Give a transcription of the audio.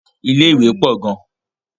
Ilé ìwé gbogbn